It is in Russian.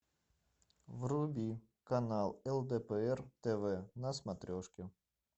вруби канал лдпр тв на смотрешке